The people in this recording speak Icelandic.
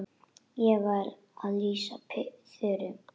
Ég var að lýsa Þuru.